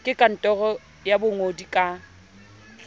ke kantoro ya bongodi ka